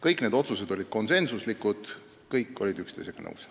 Kõik need otsused olid konsensuslikud, kõik olid üksteisega nõus.